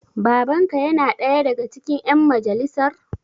Baban ka yana ɗaya daga cikin ƴan majalisar?